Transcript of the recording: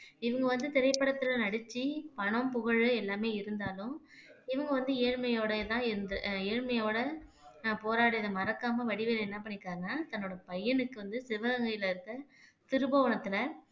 இவங்க வந்து திரைப்படத்துல நடிச்சு பணம் புகழ் எல்லாமே இருந்தாலும் இவங்க வந்து ஏழ்மையோடேதான் இருந்து ஏழ்மையோட நான் போராடி இதை மறக்காம வடிவேலு என்ன பண்ணியிருக்காருன்னா தன்னோட பையனுக்கு வந்து சிவகங்கையிலே இருக்கிற சிறுபுவனத்திலே